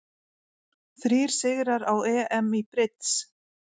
Þrír sigrar á EM í brids